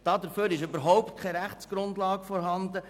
» Dafür ist überhaupt keine Rechtsgrundlage vorhanden.